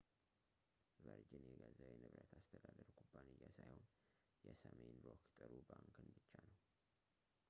ቨርጅን የገዛው የንብረት አስተዳደር ኩባንያ ሳይሆን የሰሜን ሮክ ጥሩ ባንክን ብቻ ነው